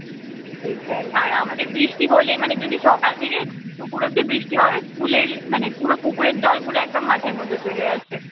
সেটাই আর আমাদের বৃষ্টি হলেই মানে যদি সকাল থেকে দুপুর অব্দি বৃষ্টি হবে স্কুলের মানে পুরো পুকুরের জলগুলো একদম মাঠের মধ্যে চলে আসে